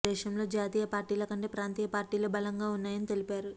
దేశంలో జాతీయ పార్టీల కంటే ప్రాంతీయ పార్టీలే బలంగా ఉన్నాయని తెలిపారు